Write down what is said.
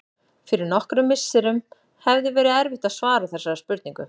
Fyrir nokkrum misserum hefði verið erfitt að svara þessari spurningu.